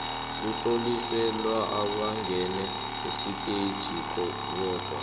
kutlonyeliswe abangene esiteji bodwa